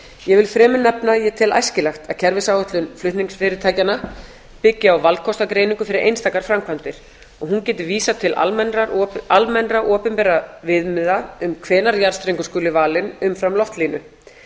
ég vil enn fremur nefna að ég tel æskilegt að kerfisáætlun flutningsfyrirtækjanna byggi á valkostagreiningu fyrir einstakar framkvæmdir og hún geti vísað til almennra opinberra viðmiða um hvenær jarðstrengur skuli valinn umfram loftlínu